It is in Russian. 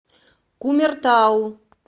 кумертау